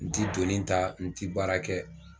N ti donni ta, n ti baara kɛ